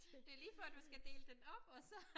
Det lige før du skal dele den op og så